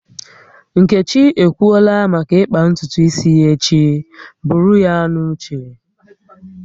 Nkechi ekwuola maka ịkpa ntutu isi ya echi, buru ya n'uche